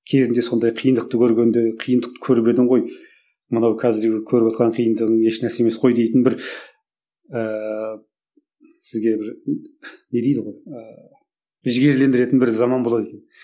кезінде сондай қиындықты көргенде қиындықты көріп едің ғой мынау қазіргі көріп отырған қиындығың еш нәрсе емес қой дейтін бір ііі сізге бір не дейді ғой ііі жігерлендіретін бір заман болады екен